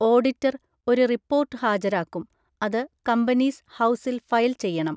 Auditor ഒരു report ഹാജരാക്കും, അത് കമ്പനീസ് ഹൗസിൽ ഫയൽ ചെയ്യണം.